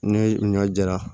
Ne ɲɔ jara